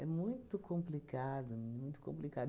muito complicado, muito complicado.